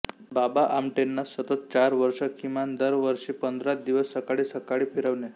बाबा आमटेंना सतत चार वर्ष किमान दर वर्षी पंधरा दिवस सकाळी सकाळी फिरवणे